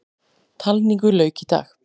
Talningu lauk í dag.